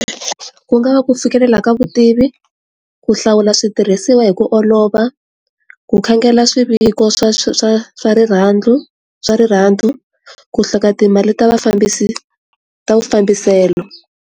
Ku nga va ku fikelela ka vutivi, ku hlawula switirhisiwa hi ku olova, ku khangela swiviko swa swa rirhandzu swa rirhandzu, ku hluka timali ta vafambisi ta ku fambiselo.